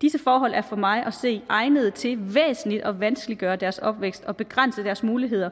disse forhold er for mig at se egnede til væsentligt at vanskeliggøre deres opvækst og begrænse deres muligheder